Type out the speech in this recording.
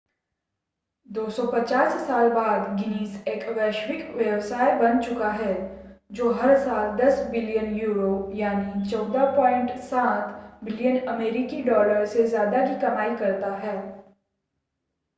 250 साल बाद गिनीज़ एक वैश्विक व्यवसाय बन चुका है जो हर साल 10 बिलियन यूरो 14.7 बिलियन अमेरिकी डॉलर से ज़्यादा की कमाई करता है